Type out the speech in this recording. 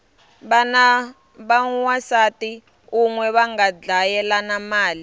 vana va wansati unwe vanga dlayelana mali